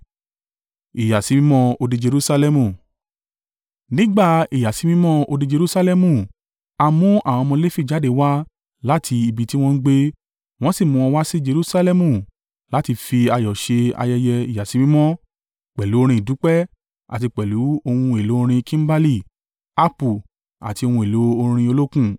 Nígbà ìyàsímímọ́ odi Jerusalẹmu a mú àwọn ọmọ Lefi jáde wá láti ibi tí wọ́n ń gbé, wọ́n sì mú wọn wá sí Jerusalẹmu láti fi ayọ̀ ṣe ayẹyẹ ìyàsímímọ́ pẹ̀lú orin ìdúpẹ́ àti pẹ̀lú ohun èlò orin kimbali, haapu àti ohun èlò orin olókùn.